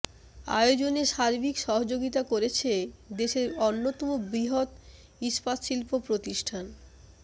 আয়োজনে সার্বিক সহযোগিতা করেছে দেশের অন্যতম বৃহৎ ইস্পাত শিল্প প্রতিষ্ঠান